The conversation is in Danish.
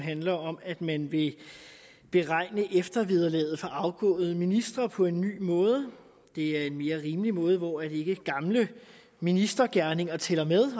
handler om at man vil beregne eftervederlaget for afgåede ministre på en ny måde det er en mere rimelig måde hvor ikke gamle ministergerninger tæller med